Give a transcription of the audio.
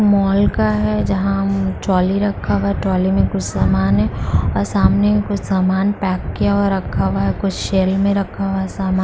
mall का है जहाँ म्म ट्रॉली रखा है ट्रॉली में कुछ सामान है और सामने कुछ सामान पैक किया हुआ रखा हुआ है कुछ शैल में रखा हुआ है सामान--